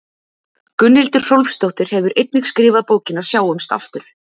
Gunnhildur Hrólfsdóttir hefur einnig skrifað bókina Sjáumst aftur.